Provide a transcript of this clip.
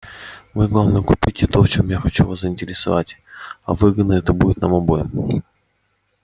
вы главное купите то в чём я хочу вас заинтересовать а выгодно это будет нам обоим